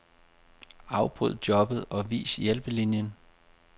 Afbryd jobbet og vis hjælpelinien.